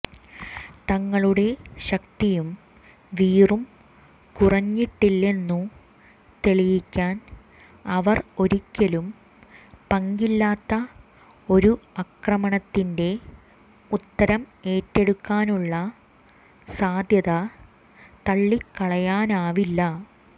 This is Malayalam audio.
തങ്ങളുടെ ശക്തിയും വീറും കുറഞ്ഞിട്ടില്ലെന്നു തെളിയിക്കാൻ അവർ ഒരിക്കലും പങ്കില്ലാത്ത ഒരു ആക്രമണത്തിന്റെ ഉത്തരം ഏറ്റെടുക്കാനുള്ള സാദ്ധ്യത തള്ളിക്കളയാനാവില്ല